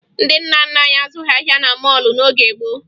Ndị nna nna anyị azụghị ahịa na mọọlụ n'oge gboo